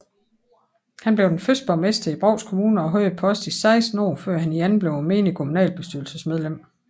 Han blev den første borgmester i Brovst Kommune og havde posten i 16 år før han igen blev menigt kommunalbestyrelsesmedlem